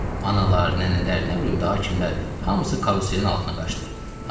Analar, nənələr, nə bilim daha kimlər, hamısı karuselin altına qaçdı.